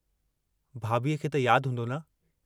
भाभीअ खे त याद हूंदो न?